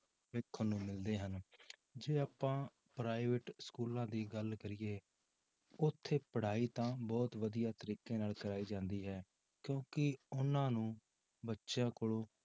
ਦੇਖਣ ਨੂੰ ਮਿਲਦੇ ਹਨ, ਜੇ ਆਪਾਂ private schools ਦੀ ਗੱਲ ਕਰੀਏ, ਉੱਥੇ ਪੜ੍ਹਾਈ ਤਾਂ ਬਹੁਤ ਵਧੀਆ ਤਰੀਕੇ ਨਾਲ ਕਰਵਾਈ ਜਾਂਦੀ ਹੈ ਕਿਉਂਕਿ ਉਹਨਾਂ ਨੂੰ ਬੱਚਿਆਂ ਕੋਲੋਂ